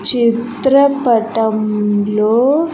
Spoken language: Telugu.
చిత్రపటంలో--